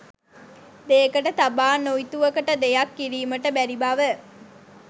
දෙයකට තබා තොඉතුවකට දෙයක් කිරීමට බැරිබව